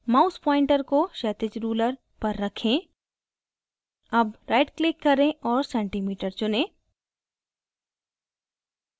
mouse pointer को क्षैतिज ruler पर रखें अब right click करें और centimeter चुनें